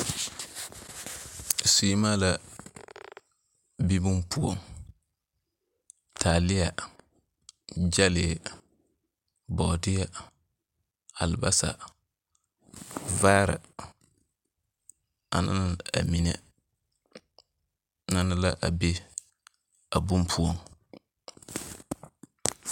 Seemaa la be bone poɔŋ, taaleɛ, gyɛlee, bɔɔdeɛ, alebasa, vaare aneŋ amine nɛne la a be a bone poɔŋ.